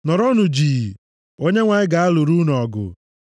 Nọrọnụ jii. Onyenwe anyị ga-alụrụ unu ọgụ.”